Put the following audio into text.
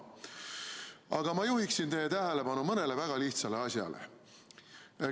Aga ma juhiksin teie tähelepanu mõnele väga lihtsale asjale.